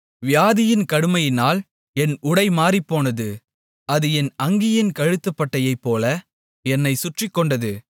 வியாதியின் கடுமையினால் என் உடை மாறிப்போனது அது என் அங்கியின் கழுத்துப்பட்டையைப்போல என்னைச் சுற்றிக்கொண்டது